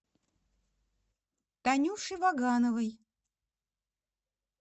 танюше вагановой